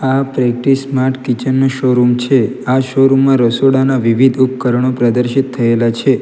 આ પ્રકટી smart kitchen નો શોરૂમ છે આ શોરૂમ માં રસોડાના વિવિધ ઉપકરણો પ્રદર્શિત થયેલા છે.